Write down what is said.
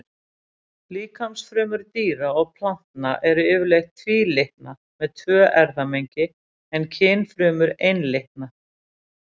Líkamsfrumur dýra og plantna eru yfirleitt tvílitna, með tvö erfðamengi, en kynfrumur einlitna.